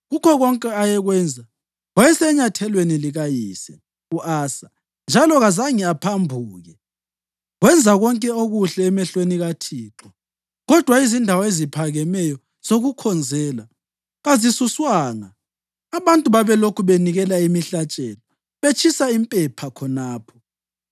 Kukho konke ayekwenza wayesenyathelweni likayise u-Asa njalo kazange aphambuke; wenza konke okuhle emehlweni kaThixo. Kodwa izindawo eziphakemeyo zokukhonzela kazisuswanga, abantu babelokhu benikela imihlatshelo, betshisa impepha khonapho.